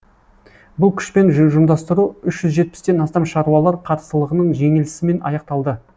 бұл күшпен ұжымдастыру үш жүз жетпістен астам шаруалар қарсылығының жеңілісімен аяқталды